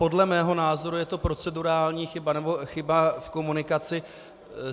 Podle mého názoru je to procedurální chyba nebo chyba v komunikaci.